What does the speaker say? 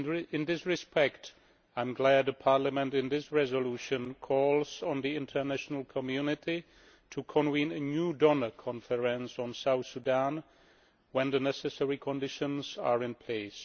In this respect, I am glad Parliament, in this resolution, calls on the international community to convene a new donor conference on South Sudan when the necessary conditions are in place.